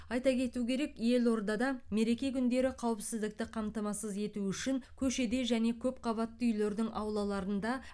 айта кету керек елордада мереке күндері қауіпсіздікті қамтамасыз ету үшін көшеде және көпқабатты үйлердің аулаларында